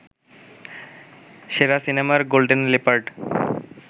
সেরা সিনেমার golden leopard